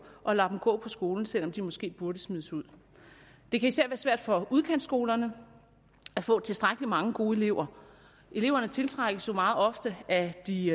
og lader dem gå på skolen selv om de måske burde smides ud det kan især svært for udkantsskolerne at få tilstrækkelig mange gode elever eleverne tiltrækkes jo meget ofte af de